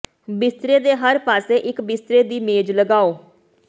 ਬਿਸਤਰੇ ਦੇ ਹਰ ਪਾਸੇ ਇਕ ਬਿਸਤਰੇ ਦੀ ਮੇਜ਼ ਲਗਾਓ